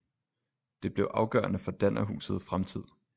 Det blev afgørende for dannerhuset fremtid